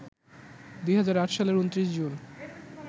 ২০০৮সালের ২৯ June